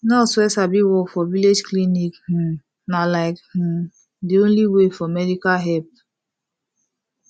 nurse wey sabi work for village clinic um na like um de only way for medical help